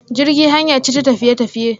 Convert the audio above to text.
Jirgi hanya ce ta tafiye tafiye.